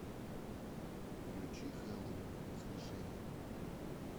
включи хэллоуин воскрешение